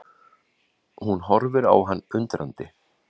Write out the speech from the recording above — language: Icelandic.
Hún horfir á hann undrandi.